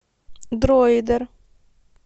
дроидер